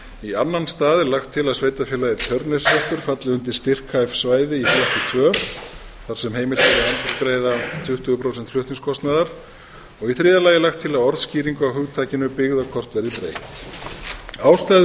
í annan stað er lagt til að sveitarfélagið tjörneshreppur falli undir styrkhæf svæði í flokki tvö þar sem heimilt er að endurgreiða tuttugu prósent flutningskostnaðar í þriðja lagi er lagt til að orðskýring á hugtakinu byggðakort verði breytt ástæður